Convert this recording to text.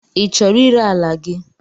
I chọrọ ire ala gị?